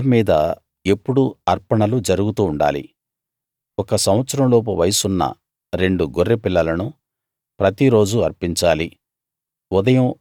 బలిపీఠం మీద ఎప్పుడూ అర్పణలు జరుగుతూ ఉండాలి ఒక సంవత్సరం లోపు వయసున్న రెండు గొర్రెపిల్లలను ప్రతి రోజూ అర్పించాలి